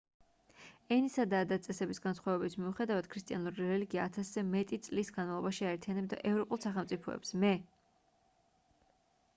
ენისა და ადათ-წესების განსხვავების მიუხედავად ქრისტიანული რელიგია ათასზე მეტი წლის განმავლობაში აერთიანებდა ევროპულ სახელმწიფოებს მე